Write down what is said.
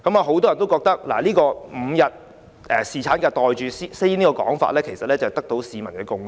很多人也覺得 ，5 天侍產假"袋住先"這個說法得到市民的共識。